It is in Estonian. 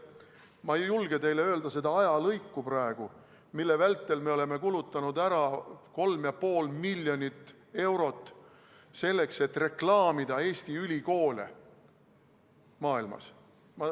Ma ei julge teile öelda seda ajalõiku, mille vältel me oleme kulutanud ära 3,5 miljonit eurot, selleks et reklaamida Eesti ülikoole maailmas.